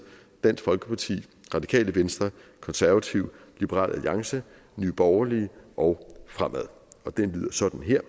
dansk folkeparti radikale venstre konservative liberal alliance nye borgerlige og fremad og det lyder sådan her